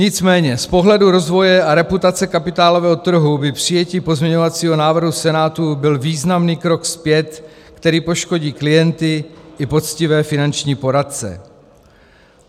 Nicméně z pohledu rozvoje a reputace kapitálového trhu by přijetí pozměňovacího návrhu Senátu byl významný krok zpět, který poškodí klienty i poctivé finanční poradce.